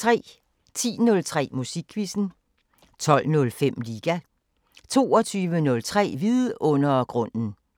10:03: Musikquizzen 12:05: Liga 22:03: Vidundergrunden